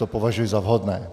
To považuji za vhodné.